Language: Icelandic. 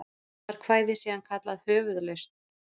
Var kvæðið síðan kallað Höfuðlausn.